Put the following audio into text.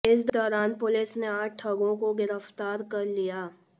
इस दौरान पुलिस ने आठ ठगों को गिरफ्तार कर लिया